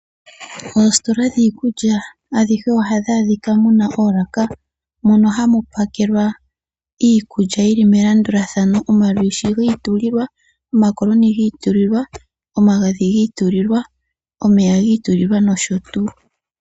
Oositola dhiikulya adhihe ohadhi adhika dhina oolaka ,moka hamu pakelwa iikulya yili melandulathano ,omalwishi giitulilwa ,omakoloni giitulilwa ,omagadhi giitulilwa, omeya giitulilwa no sho tuu.